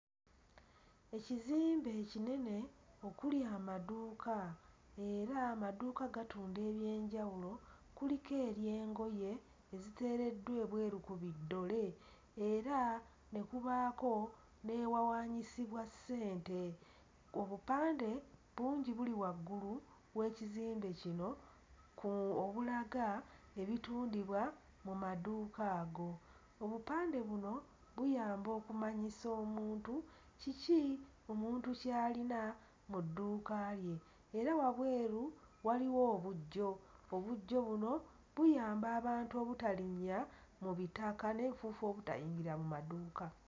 Ekizimbe ekinene okuli amaduuka era amaduuka gatunda eby'enjawulo. Kuliko ery'engoye eziteereddwa ebweru ku biddole era ne kubaako n'ewawaanyisibwa ssente. Obupande bungi buli waggulu w'ekizimbe kino obulaga ebitundibwa mu maduuka ago. Obupande buno buyamba okumanyisa omuntu kiki omuntu ky'alina mu dduuka lye era wabweru waliwo obuggyo; obuggyo buno buyamba abantu obutalinnya mu bitaka n'enfuufu obutayingira mu maduuka.